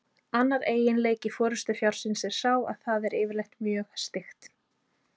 Annar eiginleiki forystufjárins er sá að það er yfirleitt mjög styggt.